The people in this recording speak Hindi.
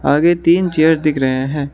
आगे तीन चेयर दिख रहे हैं।